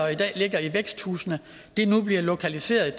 og i dag ligger i væksthusene nu bliver placeret